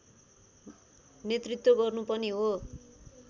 नेतृत्व गर्नु पनि हो